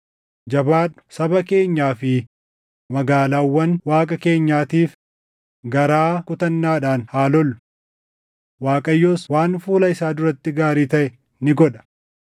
Jabaadhu; saba keenyaa fi magaalaawwan Waaqa keenyaatiif garaa kutannaadhaan haa lollu. Waaqayyos waan fuula isaa duratti gaarii taʼe ni godha.”